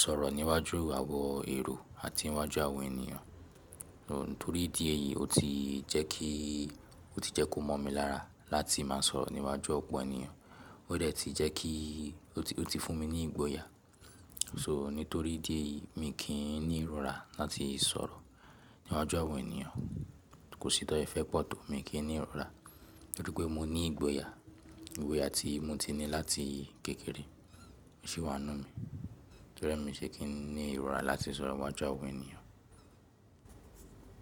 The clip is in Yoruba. sọ̀rọ̀ níwájú àwọn èrò àti iwájú àwọn ènìyàn. Nítorí idí ẹ̀yì, ó ti jẹ́ kí, ó ti jẹ́ kó mọ̀ mi lára láti má sọ̀rọ̀ níwájú ọ̀pọ̀ ènìyàn. Ó dẹ̀ ti jẹ́ kí, ó ti fún mi ní ìgboyà. So, nítorí idí ẹ̀yì mi kì í ní ìrora láti sọ̀rọ̀ níwájú àwọn ènìyàn. Kò sí tan se fẹ́ pọ̀ tó mi kì í ní ìrora. Nítorí pé mo ní ìgboyà, ìgboya tí mo ti ní láti kékeré, ó sì wà nínú mi. Torí ẹ mi ṣe kì í ní ìrora láti sọ̀rọ̀ iwájú àwọn ènìyàn.